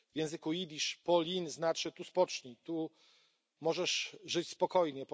W języku jidysz Polin znaczy tu spocznij, tu możesz żyć spokojnie.